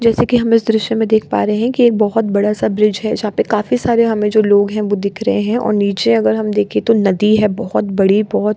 जैसा कि हम इस दृश्य में देख पा रहें हैं कि एक बहुत बड़ा-सा ब्रिज है जहाँ पे काफी सारे हमें जो लोग हैं वो दिख रहें हैं और नीचे अगर हम देखें तो नदी है बहुत बड़ी बहुत --